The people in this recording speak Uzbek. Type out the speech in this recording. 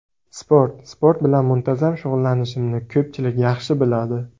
Sport Sport bilan muntazam shug‘ullanishimni ko‘pchilik yaxshi biladi.